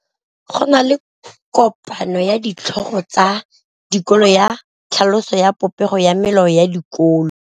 Go na le kopanô ya ditlhogo tsa dikolo ya tlhaloso ya popêgô ya melao ya dikolo.